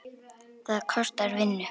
Það kostar vinnu!